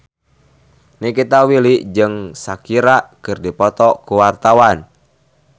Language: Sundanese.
Nikita Willy jeung Shakira keur dipoto ku wartawan